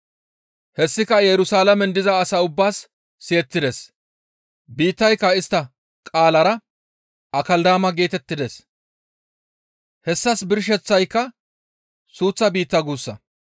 Hessika Yerusalaamen diza asaa ubbaas siyettides; biittayka istta qaalara, «Akeldaama» geetettides; hessas birsheththayka suuththa biitta guussa.